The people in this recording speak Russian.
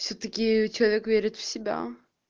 всё таки человек верит в себя